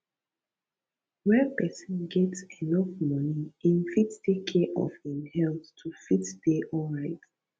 when persin get enough money im fit take care of im health to fit de alright